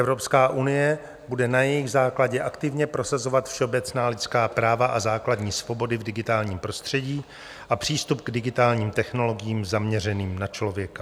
Evropská unie bude na jejich základě aktivně prosazovat všeobecná lidská práva a základní svobody v digitálním prostředí a přístup k digitálním technologiím zaměřeným na člověka.